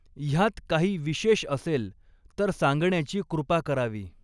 ह्यात काही विशेष असेल तर सांगण्याची कृपा करावी.